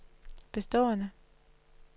bestående